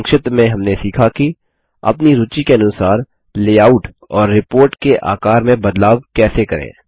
संक्षिप्त में हमने सीखा कि अपनी रूचि के अनुसार लेआउट और रिपोर्ट के आकार में बदलाव कैसे करें